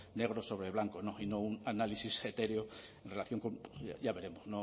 negro sobre blanco y no un análisis etéreo en relación con ya veremos